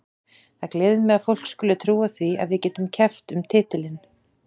Það gleður mig að fólk skuli trúa því að við getum keppt um titilinn.